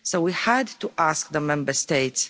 So we had to ask the Member States.